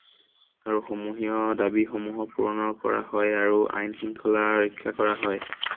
আৰু সমূহীয়া দাবী সমূহক পূৰণৰ কৰা হয় আৰু আইন শৃংখলা ৰক্ষা কৰা হয়।